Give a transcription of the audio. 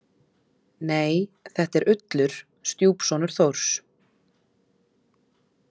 Nei, þetta er Ullur, stjúpsonur Þórs